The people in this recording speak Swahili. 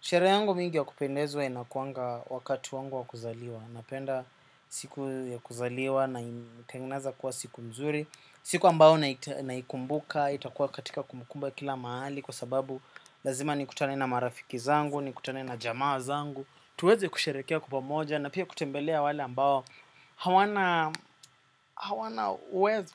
Sherehe yangu mingi ya kupendezwa inakuwanga wakati wangu wa kuzaliwa. Napenda siku ya kuzaliwa naitengeneza kuwa siku nzuri. Siku ambayo naikumbuka, itakuwa katika kumukumba kila mahali. Kwa sababu lazima ni kutane na marafiki zangu, nikutane na jamaa zangu. Tuweze kusherehekea kwa pamoja na pia kutembelea wale ambao hawana hawana uwezo.